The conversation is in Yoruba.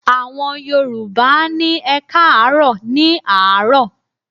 Àwọn Yorùbá á ní "ẹkáàárọ̀" ní àárọ̀.